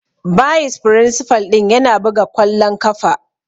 Bayis firinsifal ɗin yana buga kwallon kafa.